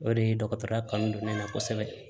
O de ye dɔgɔtɔrɔya kanu don ne la kosɛbɛ